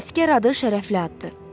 Əsgər adı şərəfli addır.